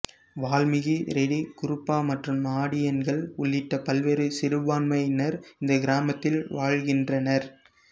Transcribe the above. வால்மிகி ரெடி குருபா மற்றும் நாடியன்கள் உள்ளிட்ட பல்வேறு சிறுபான்மையினர் இந்த கிராமத்தில் வாழ்கின்றனர்